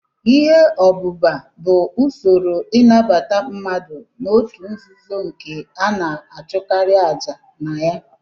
Ihe obúbá bụ usoro innabata mmadụ na-otu nzuzo nke ana achukari aja na ya.